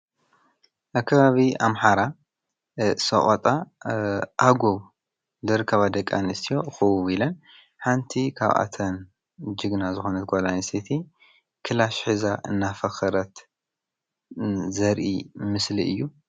ኣከባቢ ኣምሓራ ሠቖጣ ኣጎ ልርካባ ደቃንስቲ ኽቡብ ኢለን ሓንቲ ኻብኣተን ጅግና ዝኾነት ጓላይሴቲ ክላሽ ሕዛ እናፈኸረት ዘርኢ ምስሊ እዩ::